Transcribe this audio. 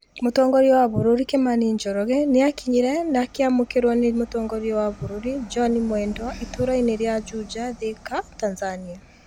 Mũtongoria wa bũrũri kimani njoroge nĩ akinyire na akĩamũkĩrwo nĩ Mũtongoria wa bũrũri John Mwendwa itũũrainĩ rĩa Juja, Thika, Tanzania".